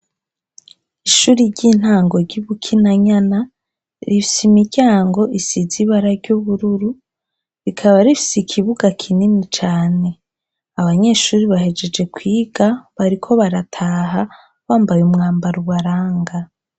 Ishuri ry'intango ry'ibukina nyana rifse imiryango isizaibara ry'ubururu rikaba rifse ikibuga kinini cane abanyeshuri bahejeje kwiga bariko barataha bambaye umwambara ubaranga.